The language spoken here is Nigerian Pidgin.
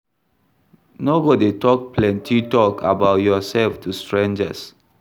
No go dey talk plenty talk about yourself to strangers